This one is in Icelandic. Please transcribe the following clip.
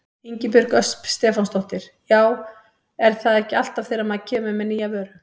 Ingibjörg Ösp Stefánsdóttir: Já er það ekki alltaf þegar maður kemur með nýja vöru?